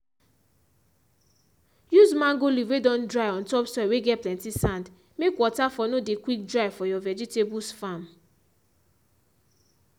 use mango leaf whey don dry on top soil whey get plenty sand make water for no dey quick dry for you vegetables farm